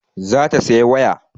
Za ta saya waya